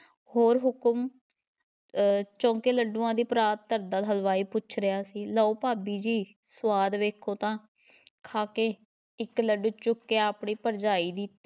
ਹੋਰ ਹੁਕਮ ਅਹ ਚੌਂਕੇ ਲੱਡੂਆਂ ਦੀ ਪਰਾਤ ਧਰਦਾ ਹਲਵਾਈ ਪੁੱਛ ਰਿਹਾ ਸੀ, ਲਓ ਭਾਬੀ ਜੀ ਸੁਆਦ ਵੇਖੋ ਤਾਂ ਖਾ ਕੇ ਇੱਕ ਲੱਡੂ ਚੁੱਕ ਕੇ ਆਪਣੀ ਭਰਜਾਈ ਦੀ